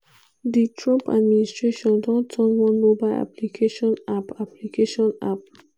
di trump administration don turn one mobile application app application app